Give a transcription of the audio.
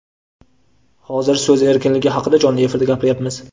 Hozir so‘z erkinligi haqida jonli efirda gapiryapmiz.